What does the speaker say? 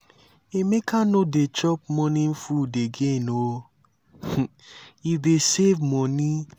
emeka no dey chop morning food again oo he dey save money.